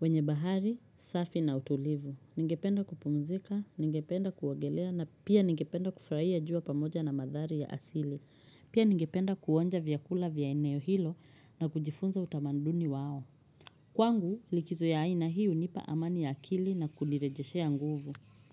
wenye bahari safi na utulivu. Ningependa kupumzika, ningependa kuogelea na pia ningependa kufurahia jua pamoja na mandhari ya asili. Pia ningependa kuonja vyakula vya eneo hilo na kujifunza utamaduni wao. Kwangu, likizo ya aina hii hunipa amani ya akili na kunirejeshea nguvu.